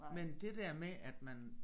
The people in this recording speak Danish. Men det der med at man